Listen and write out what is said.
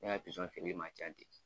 Ne ka pizɔn man ca ten.